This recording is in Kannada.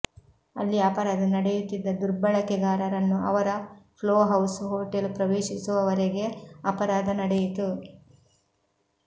ಅಲ್ಲಿ ಅಪರಾಧ ನಡೆಯುತ್ತಿದ್ದ ದುರ್ಬಳಕೆಗಾರರನ್ನು ಅವರ ಫ್ಲೋಹೌಸ್ ಹೋಟೆಲ್ ಪ್ರವೇಶಿಸುವವರೆಗೆ ಅಪರಾಧ ನಡೆಯಿತು